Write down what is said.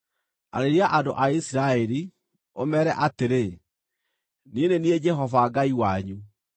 “Arĩria andũ a Isiraeli, ũmeere atĩrĩ: ‘Niĩ nĩ niĩ Jehova Ngai wanyu.